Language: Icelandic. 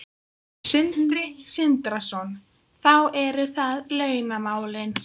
Sindri Sindrason: Þá eru það launamálin?